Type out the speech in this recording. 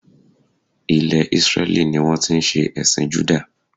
Ilè Isreli ni wón ti n se èsìn Juda